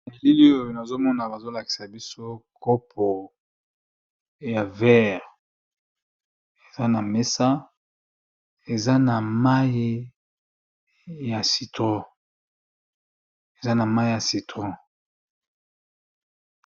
Nabilili oyo nazomona bazolakisabiso kopo ya verre eza namesa eza namayi ya citron